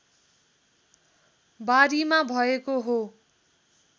बारीमा भएको हो